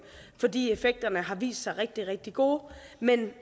fordi effekterne har vist sig rigtig rigtig gode men